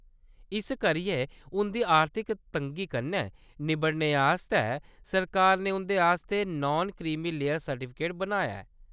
इस करियै उंʼदी आर्थिक तंगी कन्नै निब्बड़ने आस्तै सरकार ने उं’दे आस्तै नान क्रीमी लेयर सर्टिफिकेट बनाया ऐ।